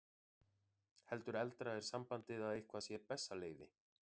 Heldur eldra er sambandið að eitthvað sé bessaleyfi.